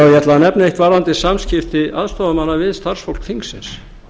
ætla að nefna eitt varðandi samskipti aðstoðarmanna við starfsfólk þingsins